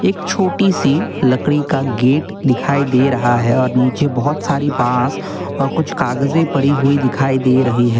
एक छोटी सी लकड़ी का गेट दिखाई दे रहा है और नीचे बहोत सारी बांस और कुछ कागजे परी हुई दिखाई दे रही है।